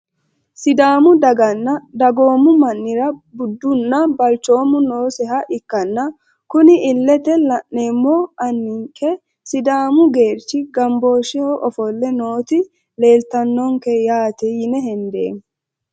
Sidaamu daganna dagoomu manira budunna balcoomu nooseha ikkana kuni ilete la`nemohu aninke sidaamu geerchi ganboosheho ofole nooti leeltanonke yaate yine hendeemo.